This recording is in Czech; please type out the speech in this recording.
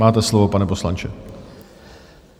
Máte slovo, pane poslanče.